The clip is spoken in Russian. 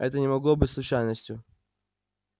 это не могло быть случайностью